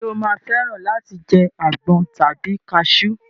Ṣé o máa fẹ́ràn láti jẹ àgbọn tàbí kasú?